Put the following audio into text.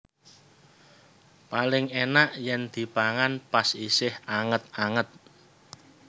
Paling enak yen dipangan pas isih anget anget